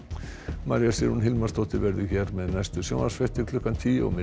María Sigrún Hilmarsdóttir verður hér með næstu sjónvarpsfréttir klukkan tíu og